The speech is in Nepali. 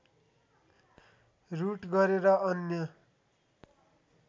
रुट गरेर अन्य